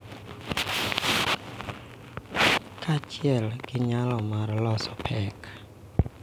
Kaachiel gi nyalo mar loso pek.